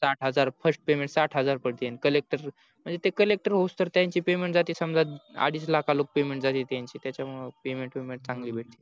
साठ हजार first payment साठ हजार पडते collector म्हणजे collector होऊस तवर त्याची payment जाते समजा अडीच लाखाला payment जाते त्यांची त्याच्यामुळे payment विमेंट चांगली भेटते